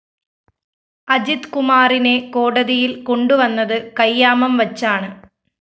അജിത് കുമാറിനെ കോടതിയില്‍ കൊണ്ടുവന്നത് കയ്യാമംവച്ചാണ്